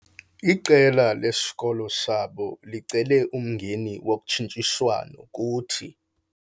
Iqela lesikolo sabo licele umngeni wokhutshiswano kuthi.